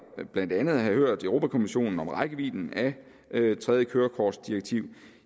blandt andet at have hørt europa kommissionen om rækkevidden af tredje kørekortdirektiv